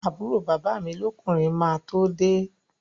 Àbúrò bàbá mi lọ́kùnrin máa tó de